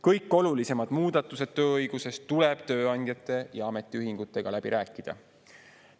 Kõik olulisemad muudatused tööõiguses tuleb tööandjate ja ametiühingutega läbi rääkida.